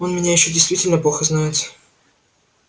он меня ещё действительно плохо знает